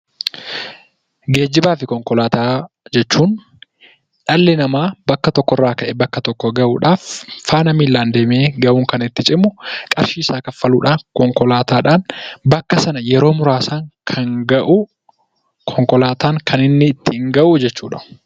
Geejjibaafi konkolaataa jechuun dhalli namaa bakka tokkorraa ka'ee bakka tokko gahuudhaaf, faana miilaan deemee gahuun kan itti cimu qarshiisaa kanfaluudhaan konkolaataadhaan bakka sana yeroo muraasaan kan gahu konkolaataan kan inni ittiin gahu jechuudha.